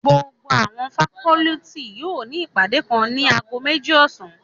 Gbogbo awọn facọluti yóò ni ipade kan nib ago meji ọsan